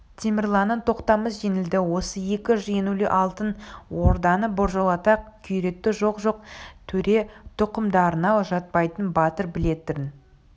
темірланнан тоқтамыс жеңілді осы екі жеңілу алтын орданы біржолата күйретті жоқ-жоқ төре тұқымдарына жатпайтын батыр билердің